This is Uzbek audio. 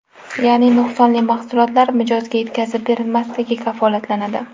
Ya’ni nuqsonli mahsulotlar mijozga yetkazib berilmasligi kafolatlanadi.